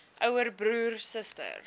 ouer broer suster